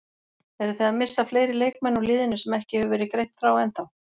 Eruð þið að missa fleiri leikmenn úr liðinu sem ekki hefur verið greint frá ennþá?